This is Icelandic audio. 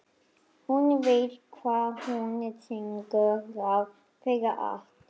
Hún veit hvað hún syngur þrátt fyrir allt.